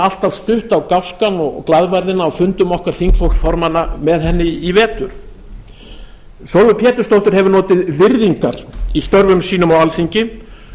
alltaf stutt á gáskann og glaðværðina á fundum okkar þingflokksformanna með henni í vetur sólveig pétursdóttir hefur notið virðingar í störfum sínum á alþingi